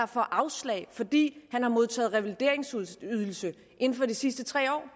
får afslag fordi han har modtaget revalideringsydelse inden for de sidste tre år